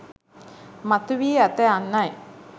මතුවී ඇත යන්නයි